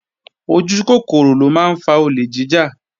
Ojúkòkòrò ló máa ń fa olè jíjà